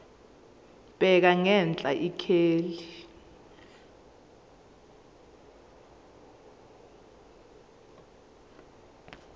bheka ngenhla ikheli